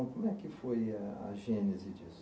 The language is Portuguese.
Como é que foi a gênese disso?